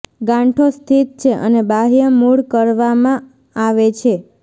ગાંઠો સ્થિત છે અને બાહ્ય મૂળ કરવામાં આવે છે